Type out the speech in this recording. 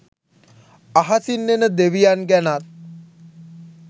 අහසින් එන දෙවියන් ගැනත්